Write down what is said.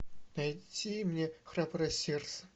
найди мне храброе сердце